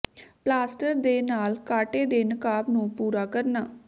plaster ਦੇ ਨਾਲ ਕਾਟੇ ਦੇ ਨਕਾਬ ਨੂੰ ਪੂਰਾ ਕਰਨਾ